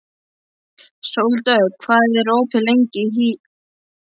Sóldögg, hvað er opið lengi í HÍ?